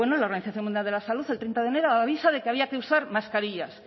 la organización mundial de la salud el treinta de enero avisa de que había que usar mascarillas